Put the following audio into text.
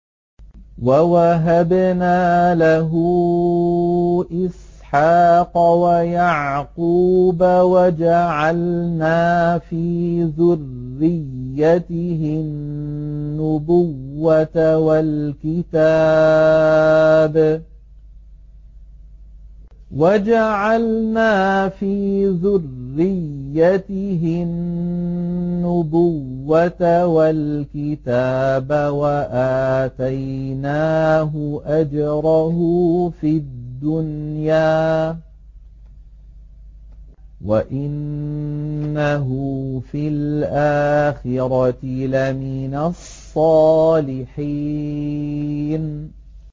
وَوَهَبْنَا لَهُ إِسْحَاقَ وَيَعْقُوبَ وَجَعَلْنَا فِي ذُرِّيَّتِهِ النُّبُوَّةَ وَالْكِتَابَ وَآتَيْنَاهُ أَجْرَهُ فِي الدُّنْيَا ۖ وَإِنَّهُ فِي الْآخِرَةِ لَمِنَ الصَّالِحِينَ